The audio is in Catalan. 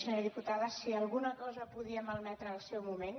senyora diputada si alguna cosa podia malmetre al seu moment